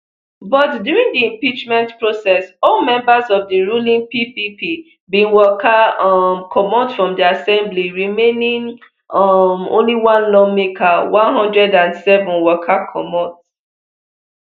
but during di impeachment process all members of di ruling ppp bin waka um comot from di assembly remaining um only one lawmaker one hundred and seven waka comot